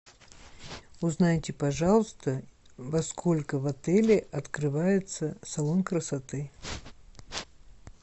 узнайте пожалуйста во сколько в отеле открывается салон красоты